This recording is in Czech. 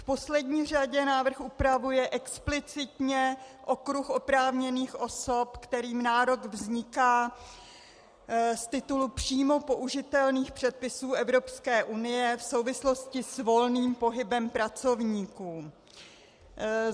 V poslední řadě návrh upravuje explicitně okruh oprávněných osob, kterým nárok vzniká z titulu příjmu použitelných předpisů Evropské unie v souvislosti s volným pohybem pracovníků.